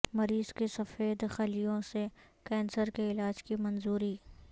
مریض کے سفید خلیوں سے کینسر کے علاج کی منظوری